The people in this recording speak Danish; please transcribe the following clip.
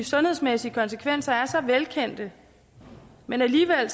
sundhedsmæssige konsekvenser er så velkendte men alligevel